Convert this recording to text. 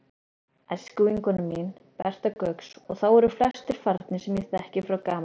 æskuvinkona mín, Berta Gauks, og þá eru flestir farnir sem ég þekkti frá gamalli tíð.